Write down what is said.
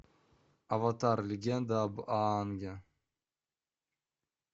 аватар легенда об аанге